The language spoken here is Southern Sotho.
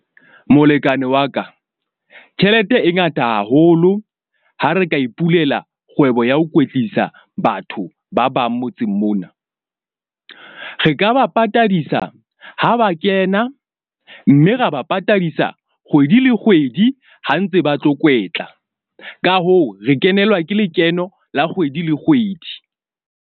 Molekane wa ka tjhelete e ngata haholo ha re ka ipulela kgwebo ya ho kwetlisa batho ba bang motseng mona. Re ka ba patadisa ha ba kena, mme ra ba patadisa kgwedi le kgwedi ha ntse ba tlo kwetla. Ka hoo, re kenelwa ke lekeno la kgwedi le kgwedi.